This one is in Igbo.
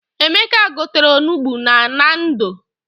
Emeka gotere onugbu na Nando.